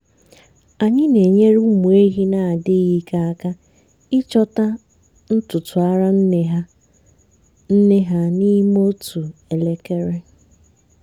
anyị na-enyere ụmụ ehi na-adịghị ike aka ịchọta ntutu ara nne ha nne ha n'ime otu elekere.